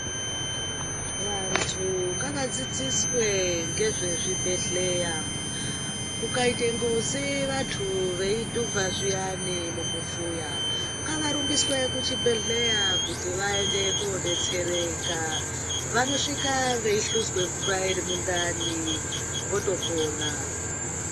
Vantu ngavadzidziswe ngezve zvibhedhlera , ukaite nkosi antu edhuvha zviyani mumufuya ngavarumbiswe kuzvibhedhlera kuti vaende kodetsereka vanosvika veihluzwe mvura iri mundani votopona .